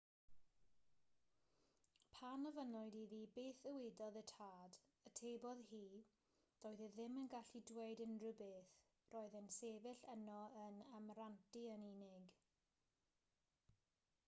pan ofynnwyd iddi beth ddywedodd y tad atebodd hi doedd e ddim yn gallu dweud unrhyw beth - roedd e'n sefyll yno yn amrantu yn unig